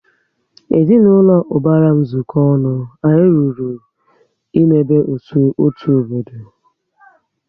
Ezinaụlọ ubara m zuko ọnụ, anyị lụrụ ịmebe otu obodo